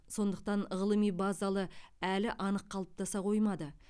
сондықтан ғылыми базалы әлі анық қалыптаса қоймады